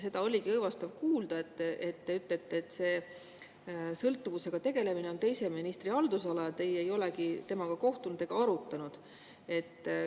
Seda oli õõvastav kuulda, kui te ütlesite, et sõltuvusega tegelemine on teise ministri haldusala, teie ei olegi temaga kohtunud ega seda arutanud.